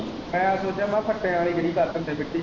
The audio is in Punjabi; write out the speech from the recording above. ਮੈਂ ਸੋਚਿਆ ਮੈਂ ਕਿਹਾ ਫੱਟੇ ਨਾਲ਼ ਹੀ ਗਿਹੀ ਕਰ ਦਿੰਦੇ ਮਿੱਟੀ।